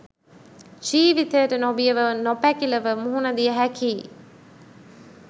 ජීවිතයට නොබියව නොපැකිළව මුහුණ දිය හැකිය.